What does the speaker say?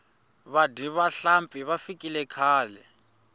vadyi va nhlampfi va fikile khale